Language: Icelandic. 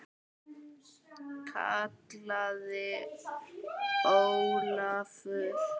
kallaði Ólafur.